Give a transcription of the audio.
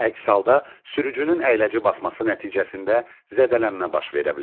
Əks halda sürücünün əyləci basması nəticəsində zədələnmə baş verə bilər.